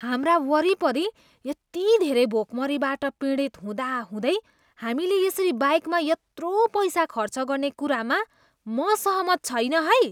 हाम्रा वरिपरि यति धेरै भोकमरीबाट पीडित हुँदा हुँदै हामीले यसरी बाइकमा यत्रो पैसा खर्च गर्ने कुरामा म सहमत छैन है।